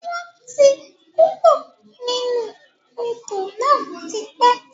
Wọn tí kúrò nínú Odò náà tipẹ́